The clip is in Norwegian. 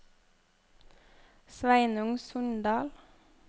Sveinung Sundal